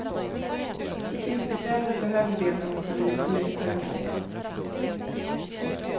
Butiksbiträdet behöver det när hon fyller i tulldeklarationen.